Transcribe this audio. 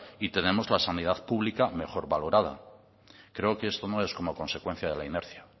y tenemos la sanidad pública mejor valorada creo que esto no es como consecuencia de la inercia